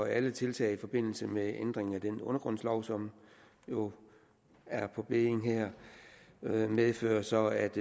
alle tiltag i forbindelse med ændring af den undergrundslov som jo er på bedding her medfører så at